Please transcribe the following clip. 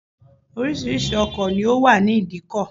Oríṣiríṣi ọkọ̀ ló wà ní idikọ̀